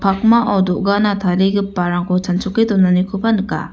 pakmao do·gana tarigiparangko chanchoke donanikoba nika.